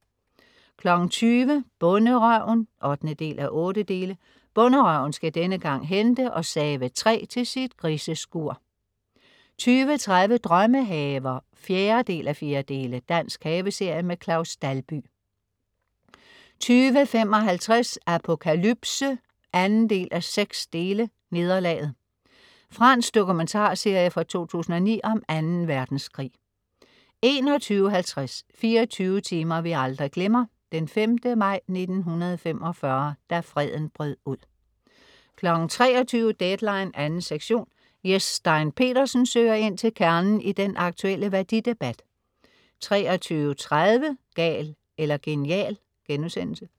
20.00 Bonderøven 8:8. Bonderøven skal denne gang hente og save træ til sit griseskur 20.30 Drømmehaver 4:4. Dansk haveserie. Claus Dalby 20.55 Apokalypse 2:6. Nederlaget. Fransk dokumentarserie fra 2009 om Anden Verdenskrig 21.50 24 timer vi aldrig glemmer: 5. maj 1945. Da freden brød ud 23.00 Deadline 2. sektion. Jes Stein Pedersen søger ind til kernen i den aktuelle værdidebat 23.30 Gal eller genial*